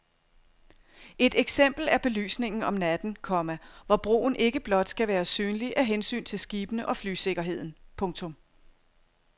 Et eksempel er belysningen om natten, komma hvor broen ikke blot skal være synlig af hensyn til skibene og flysikkerheden. punktum